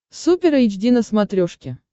супер эйч ди на смотрешке